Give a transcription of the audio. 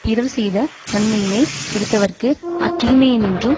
பிறர் செய்த நன்மையினைக் கெடுத்தவர்க்கு அத்தீமையினின்றும்